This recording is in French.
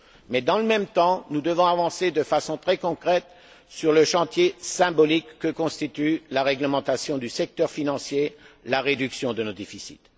Mais, dans le même temps, nous devons avancer de façon très concrète sur le chantier symbolique que constitue la réglementation du secteur financier, la réduction de nos déficits.